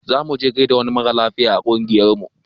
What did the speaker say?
Zamu je mu gaida wani mara lafiya a ƙungiyar mu